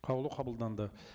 қаулы қабылданды